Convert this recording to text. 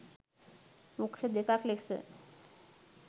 වෘක්‍ෂ දෙකක් ලෙස